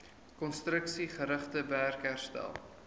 konstruksiegerigte werk herstel